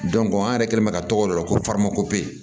an yɛrɛ kɛlen bɛ ka tɔgɔ dɔ la ko